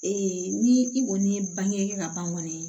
ni i kɔni ye bange ka ban kɔni